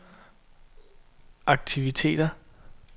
aktiviteter